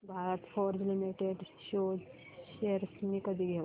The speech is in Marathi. भारत फोर्ज लिमिटेड शेअर्स मी कधी घेऊ